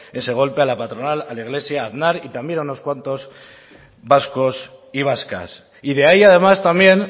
ese golpe a la patronal a la iglesia a aznar y también a unos cuantos vascos y vascas y de ahí además también